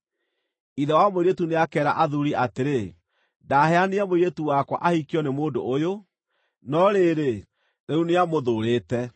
Ithe wa mũirĩtu nĩakeera athuuri atĩrĩ, “Ndaheanire mũirĩtu wakwa ahikio nĩ mũndũ ũyũ, no rĩrĩ, rĩu nĩamũthuurĩte.